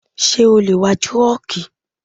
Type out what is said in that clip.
Ṣé o lè wa trọ́ọ́kì?